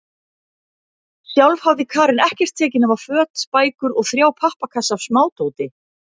Sjálf hafði Karen ekkert tekið nema föt, bækur og þrjá pappakassa af smádóti.